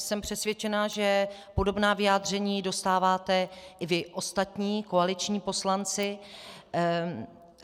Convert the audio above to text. Jsem přesvědčena, že podobná vyjádření dostáváte i vy ostatní koaliční poslanci.